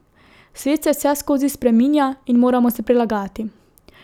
Svet se vseskozi spreminja in moramo se prilagajati.